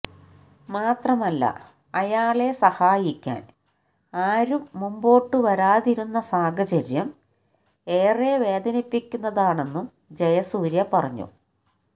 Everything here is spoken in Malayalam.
മാത്രമല്ല അയാളെ സഹായിക്കാന് ആരും മുമ്പോട്ട് വരാതിരുന്ന സാഹചര്യം ഏറെ വേദനിപ്പിക്കുന്നതാണെന്നും ജയസൂര്യ പറഞ്ഞു